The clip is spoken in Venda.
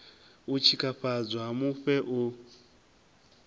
u tshikafhadzwa ha mufhe u